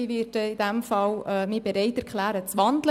Ich werde mich in diesem Fall bereit erklären, zu wandeln.